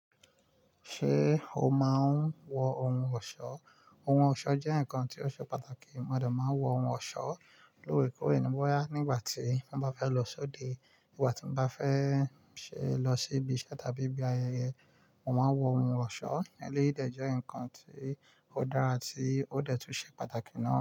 Ṣé o máa ń wọ ohun ọ̀ṣọ́? Ohun ọ̀ṣọ́ jẹ́ nǹkan tí ó ṣe pàtàkì. Mo de máa ń wọ ohun ọ̀ṣọ́ lórekore ni boya nígbà tí wọ́n bá fẹ́ lọ sóde. Nígbà tí mo bá fẹ́ lọ sí ibi iṣẹ́ tàbí ibi ayẹyẹ, mo máa ń wọ ohun ọ̀ṣọ́. Eleyi de je ǹkan tí ó dára, tí ó dẹ́ tun ṣe pàtàkì náà.